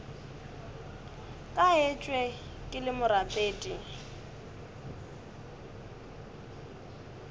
ka etšwe ke le morapedi